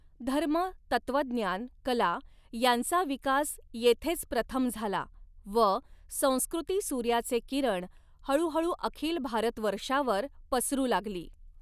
धर्म, तत्त्वज्ञान, कला यांचा विकास येथेच प्रथम झाला व संस्कृतिसूर्याचे किरण हळूहळू अखिल भारतवर्षावर पसरु लागली.